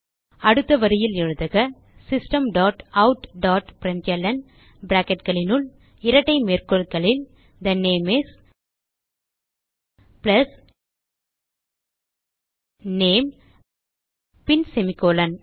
அடுத்த வரியில் எழுதுக system dot out dot println bracketகளினுள் இரட்டை மேற்கோள்களில் the name is plus name பின் செமிகோலன்